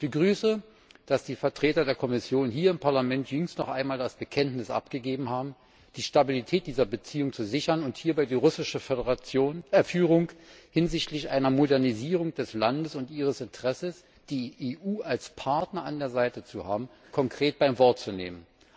Ich begrüße, dass die Vertreter der Kommission hier im Parlament jüngst noch einmal das Bekenntnis dazu abgegeben haben, die Stabilität dieser Beziehung zu sichern und hierbei die russische Führung hinsichtlich einer Modernisierung des Landes und ihres Interesses, die EU als Partner an der Seite zu haben, konkret beim Wort zu nehmen.